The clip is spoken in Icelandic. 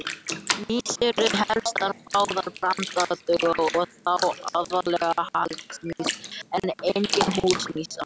Mýs eru helsta fæða brandugla og þá aðallega hagamýs en einnig húsamýs.